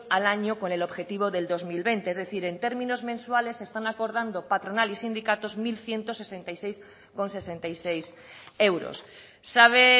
al año con el objetivo del dos mil veinte es decir en términos mensuales están acordando patronal y sindicatos mil ciento sesenta y seis coma sesenta y seis euros sabe